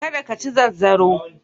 Ka da ka ci zanzaro.